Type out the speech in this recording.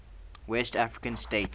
west african states